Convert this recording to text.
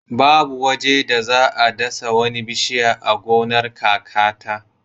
Babu waje da za a dasa wani bishiya a gonar kakata.